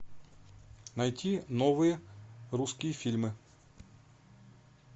найти новые русские фильмы